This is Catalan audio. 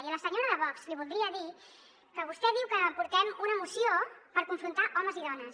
i a la senyora de vox li voldria dir que vostè diu que portem una moció per confrontar homes i dones